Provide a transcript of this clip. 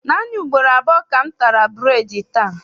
Naanị ugboro abụọ ka m tara bureedi taa.